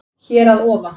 Hér að ofa